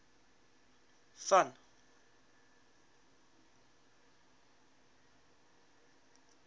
van